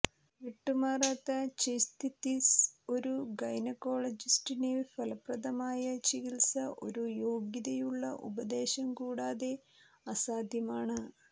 വിട്ടുമാറാത്ത ച്യ്സ്തിതിസ് ഒരു ഗൈനക്കോളജിസ്റ്റിനെ ഫലപ്രദമായ ചികിത്സ ഒരു യോഗ്യതയുള്ള ഉപദേശം കൂടാതെ അസാധ്യമാണ്